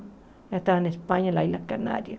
Já estava na Espanha, nas Ilhas Canárias.